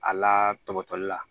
A la tɔgɔtɔli la